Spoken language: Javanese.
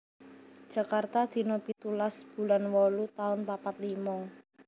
Jakarta dina pitulas bulan wolu taun papat limo